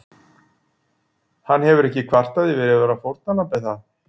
Hann hefur ekki kvartað yfir að vera fórnarlamb er það?